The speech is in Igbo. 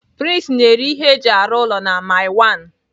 Prince na-ere ihe eji arụ ụlọ na mile one.